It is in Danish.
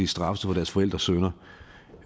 straffes for deres forældres synder